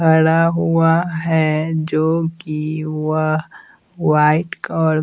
खड़ा हुआ हैं जो कि वह वाइट और--